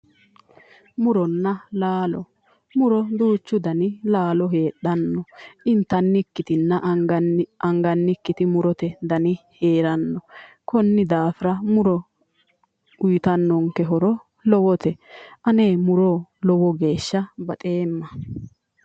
Muronna laaalo. muro duuchu dani laalo heedhanna intannikkitinna angannikkiti murote dani heeranno. konni daafira muro uuyiitannonke horo lowote. ane muro lowo geeshsha baxeemma.